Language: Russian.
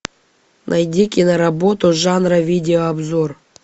найди киноработу жанра видеообзор